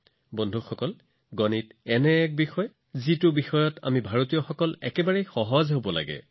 বন্ধুসকল গণিত হৈছে এনে এটা বিষয় যাৰ সৈতে আমি ভাৰতীয়সকলৰ বাবে আটাইতকৈ সহজ হোৱা উচিত